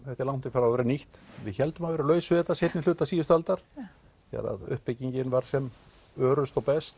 frá að vera nýtt við héldum að við værum laus við þetta seinnihluta síðust aldar þegar uppbyggingin var sem örust og best